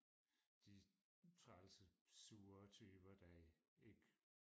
de trælse sure typer der ikke